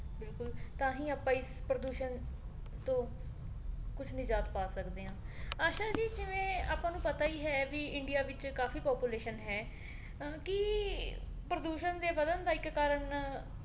ਬਿਲਕੁਲ ਤਾਂਹੀ ਆਪਾਂ ਇਸ ਪ੍ਰਦੂਸ਼ਣ ਤੋਂ ਕੁਛ ਨਿਜਾਤ ਪਾ ਸਕਦੇ ਹਾਂ ਆਸ਼ਾ ਜੀ ਜਿਵੇਂ ਆਪਾਂ ਨੂੰ ਪਤਾ ਹੀ ਹੈ ਵੀ ਇੰਡਿਆ ਵਿੱਚ ਕਾਫੀ population ਹੈ ਕੀ ਪ੍ਰਦੂਸ਼ਣ ਦੇ ਵਧਣ ਦਾ ਇੱਕ ਕਾਰਨ